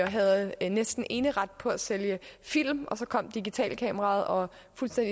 havde næsten eneret på at sælge film og så kom digitalkameraet og